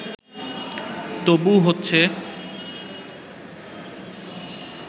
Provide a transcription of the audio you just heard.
তবু হচ্ছে